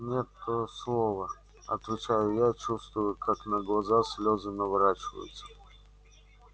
не то слово отвечаю я чувствуя как на глаза слезы наворачиваются